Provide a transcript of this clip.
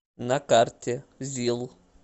на карте зил